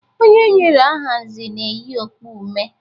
Onye e nyere aha Nze na-eyi okpu mme.